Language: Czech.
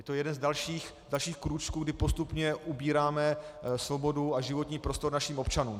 Je to jeden z dalších krůčků, kdy postupně ubíráme svobodu a životní prostor našim občanům.